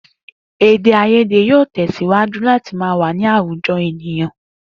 Èdè-àìyédè yóò tè̩sìwájú láti máa wà ní àwùjo̩ ènìyàn